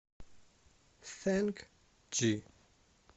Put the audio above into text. сэнк джи